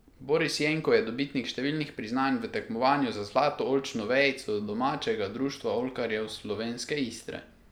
Boris Jenko je dobitnik številnih priznanj v tekmovanju za zlato oljčno vejico domačega Društva oljkarjev Slovenske Istre.